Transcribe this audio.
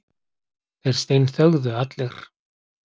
Þeir steinþögðu allir.